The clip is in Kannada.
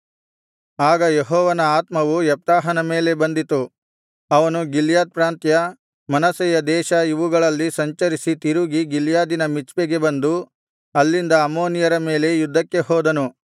ಆಗ ಯೆಹೋವನ ಆತ್ಮವು ಯೆಪ್ತಾಹನ ಮೇಲೆ ಬಂದಿತು ಅವನು ಗಿಲ್ಯಾದ್ ಪ್ರಾಂತ್ಯ ಮನಸ್ಸೆಯ ದೇಶ ಇವುಗಳಲ್ಲಿ ಸಂಚರಿಸಿ ತಿರುಗಿ ಗಿಲ್ಯಾದಿನ ಮಿಚ್ಪೆಗೆ ಬಂದು ಅಲ್ಲಿಂದ ಅಮ್ಮೋನಿಯರ ಮೇಲೆ ಯುದ್ಧಕ್ಕೆ ಹೋದನು